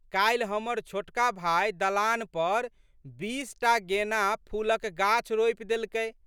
काल्हि हमर छोटका भाय दलान पर बीस टा गेना फूलक गाछ रोपि देलकै।